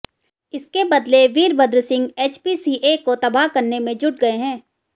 इसके बदले वीरभद्र सिंह एचपीसीए को तबाह करने में जुट गए हैं